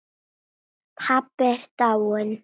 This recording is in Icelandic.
Pabbi er dáinn.